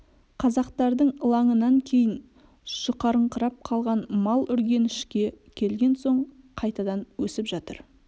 қазақтардың ылаңынан кейін жұқарыңқырап қалған мал үргенішке келген соң қайтадан өсіп жатыр